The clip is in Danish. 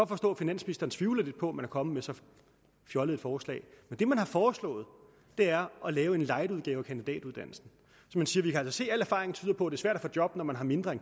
forstå at finansministeren tvivler lidt på at man er kommet med så fjollet et forslag men det man har foreslået er at lave en lightudgave af kandidatuddannelsen man siger vi kan altså se at al erfaring tyder på er svært at få job når man har mindre